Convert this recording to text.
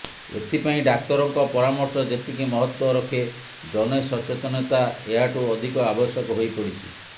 ଏଥିପାଇଁ ଡାକ୍ତରଙ୍କ ପରାମର୍ଶ ଯେତିକି ମହତ୍ତ୍ବ ରଖେ ଜନସଚେତନତା ଏହାଠୁ ଅଧିକ ଆବଶ୍ୟକ ହୋଇପଡ଼ିଛି